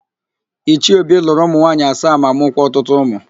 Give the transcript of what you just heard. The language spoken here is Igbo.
Ichie Obi lụrụ ụmụ nwaanyị asaa ma mụkwa ọtụtụ ụmụ.